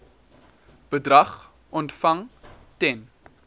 bedrag ontvang ten